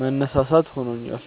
መነሳሳት ሆኖኛል።